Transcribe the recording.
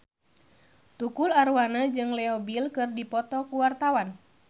Tukul Arwana jeung Leo Bill keur dipoto ku wartawan